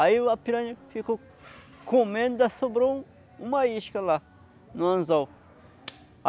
Aí a piranha ficou comendo e sobrou um uma isca lá no anzol.